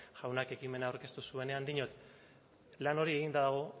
jaunak ekimena aurkeztu zuenean diot plan hori eginda dago